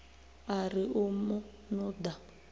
a ri u mu nuḓa